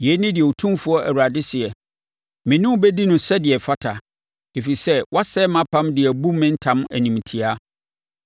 “ ‘Yei ne deɛ Otumfoɔ Awurade seɛ: Me ne wo bɛdi no sɛdeɛ ɛfata, ɛfiri sɛ woasɛe mʼapam de abu me ntam animtiaa.